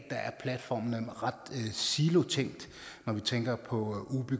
platformene er ret silotænkte når vi tænker på